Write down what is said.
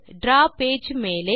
draw page மேலே